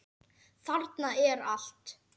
Þarna er allt.